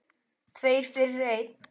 Tveir fyrir einn.